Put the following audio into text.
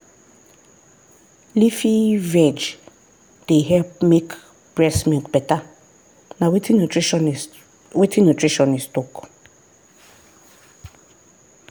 leafy veg dey help make breast milk better na wetin nutritionist wetin nutritionist talk.